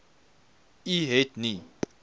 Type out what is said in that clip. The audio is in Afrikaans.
u het nie